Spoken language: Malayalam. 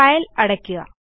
ഫയൽ അടയ്ക്കുക